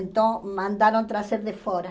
Então, mandaram trazer de fora.